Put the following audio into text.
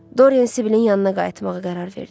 Dorian Sibilin yanına qayıtmağa qərar verdi.